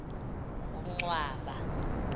kuncwaba